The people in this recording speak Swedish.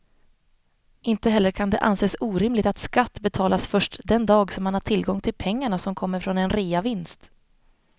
Inte heller kan det anses orimligt att skatt betalas först den dag som man har tillgång till pengarna som kommer från en reavinst.